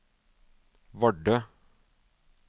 Vardø